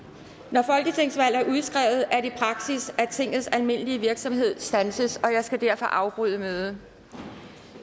når folketingsvalg er udskrevet er det praksis at tingets almindelige virksomhed standses og jeg skal derfor afbryde mødet